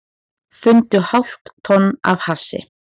Fundu hálft tonn af hassi